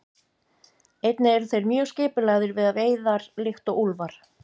Einnig eru þeir mjög skipulagðir við veiðar líkt og úlfar.